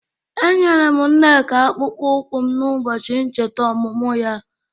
Enyere m nneka akpụkpọ ụkwụ m n'ụbọchị ncheta ọmụmụ ya